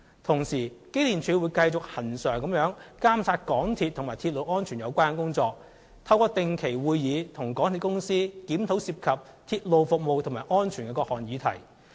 同時，機電署會繼續恆常監察港鐵及與鐵路安全有關的工作，透過定期會議，與港鐵公司檢討涉及鐵路服務及安全的各項議題。